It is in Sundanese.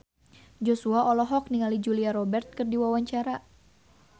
Joshua olohok ningali Julia Robert keur diwawancara